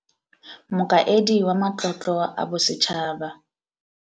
Mokaedi wa Matlotlo a Bo setšhaba.